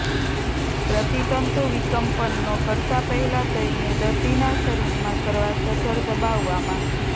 પ્રતિતંતુવિકમ્પનનો કરતા પહેલા તેમને દર્દીના શરીરમાં કરવા સજ્જડ દબાવવામાં